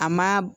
A ma